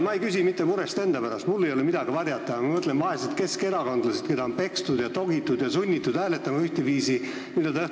Ma ei küsi mitte murest enda pärast, mul ei ole midagi varjata, aga ma mõtlen vaeste keskerakondlaste peale, keda on pekstud, togitud ja sunnitud ühtviisi hääletama.